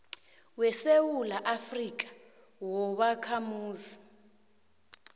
wesewula afrika wobakhamuzi